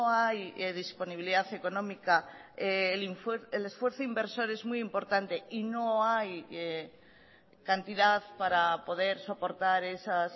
hay disponibilidad económica el esfuerzo inversor es muy importante y no hay cantidad para poder soportar esas